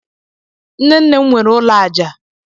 Nnenne m nwere ụlọ aja